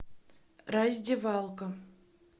раздевалка